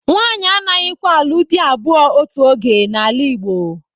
Nwanyị anaghịkwa alụ dị abụọ otu oge n'ala Igbo.